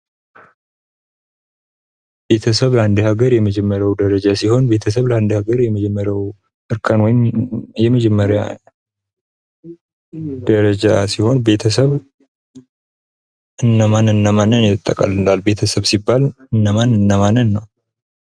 ቤተሰብ የአንድ ሀገር የመጀመሪያው ደረጃ ሲሆን ፤ ቤተሰብ ለአንድ ሀገር የመጀመሪያው እርከን ወይም የመጀመሪያው ደረጃ ሲሆን ቤተሰብ እነማን እነማንን ያጠቃልላል? ቤተሰብ ሲባል እነማን እነማንን ነዉ?